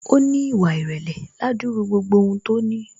Ó ní ìwà ìrèlè ládúrú gbogbo ohun tó ní